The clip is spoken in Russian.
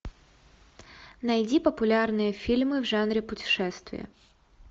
найди популярные фильмы в жанре путешествия